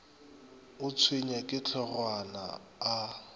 o tshwenywa ke hlogwana a